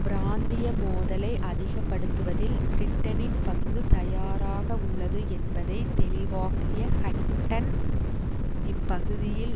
பிராந்திய மோதலை அதிகப்படுத்துவதில் பிரிட்டனின் பங்கு தயாராக உள்ளது என்பதை தெளிவாக்கிய ஹட்டன் இப்பகுதியில்